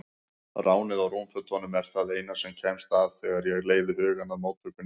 Ránið á rúmfötunum er það eina sem kemst að þegar ég leiði hugann að móttökunni.